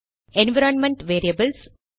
environment variables